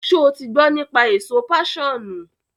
ṣé o ti gbọ́ nípa èso páṣọ̀nù?